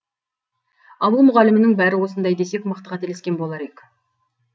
ауыл мұғалімінің бәрі осындай десек мықты қателескен болар ек